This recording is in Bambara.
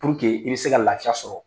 i be se ka lafiya sɔrɔ.